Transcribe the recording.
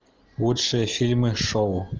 лучшие фильмы шоу